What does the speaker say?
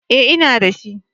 Eh, ina da shi